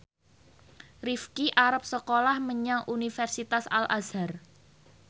Rifqi arep sekolah menyang Universitas Al Azhar